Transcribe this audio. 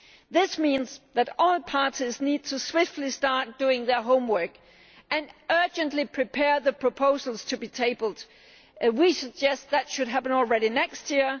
This means that all parties need to swiftly start doing their homework and urgently prepare the proposals to be tabled. We suggest that should happen as early as next year.